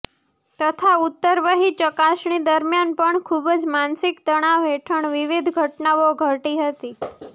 તથા ઉત્તરવહી ચકાસણી દરમિયાન પણ ખૂબ જ માનસિક તણાવ હેઠળ વિવિધ ઘટનાઓ ઘટી હતી